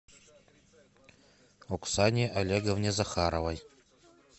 оксане олеговне захаровой